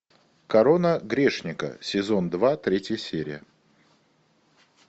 корона грешника сезон два третья серия